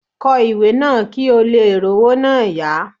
Kọ ìwé náà kí ò leè r'ówó náà yá